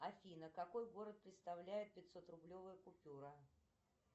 афина какой город представляет пятьсот рублевая купюра